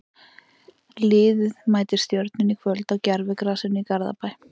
Liðið mætir Stjörnunni í kvöld á gervigrasinu í Garðabæ.